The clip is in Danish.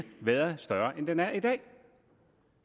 været større end den er i dag